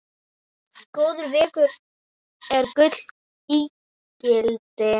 Góður vegur er gulls ígildi.